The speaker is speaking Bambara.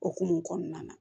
Okumu kɔnɔna na